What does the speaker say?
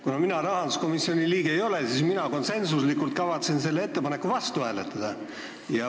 Kuna mina rahanduskomisjoni liige ei ole, siis mina kavatsen konsensuslikult selle ettepaneku vastu hääletada.